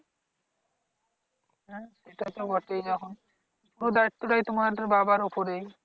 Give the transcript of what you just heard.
হ্যাঁ সেটাই তো বটেই এখন ওই দায়িত্বটাই তোমাদের বাবার উপরেই।